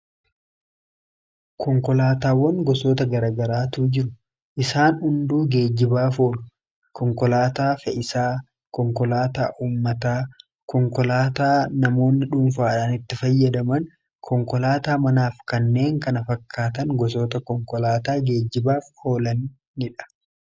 konkolaataawwan gosoota garaagaraatu jiru. isaan hunduu geejibaaf oolu. konkolaataa fe'iisaa, konkolaataa uummataa, konkolaataa namoonni dhuunfaadhaan itti fayyadaman konkolaataa manaa fi kanneen kana fakkaatan gosoota konkolaataa geejibaaf oolanidha.